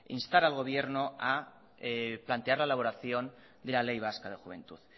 instar al gobierno a plantear la elaboración de la ley vasca de juventud